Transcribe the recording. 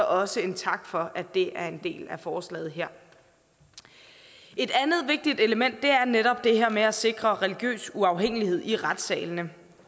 også en tak for at det er en del af forslaget her et andet vigtigt element er netop det her med at sikre religiøs uafhængighed i retssalene